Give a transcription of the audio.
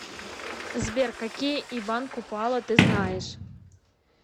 сбер какие иван купала ты знаешь